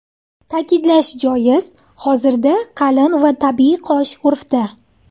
Ta’kidlash joiz, hozirda qalin va tabiiy qosh urfda.